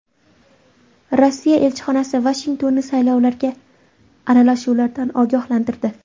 Rossiya elchixonasi Vashingtonni saylovlarga aralashuvlardan ogohlantirdi.